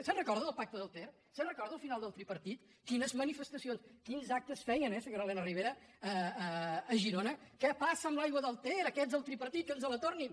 se’n recorda del pacte del ter se’n recorda al final del tripartit quines manifestacions quins actes feien eh senyora elena ribera a girona què passa amb l’aigua del ter aquests del tripartit que ens la tornin